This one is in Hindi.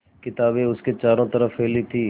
किताबें उसके चारों तरफ़ फैली थीं